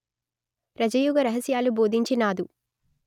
రజయోగ రహస్యాలు బోధించినాదు